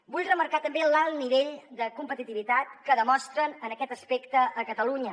vull remarcar també l’alt nivell de competitivitat que demostren en aquest aspecte a catalunya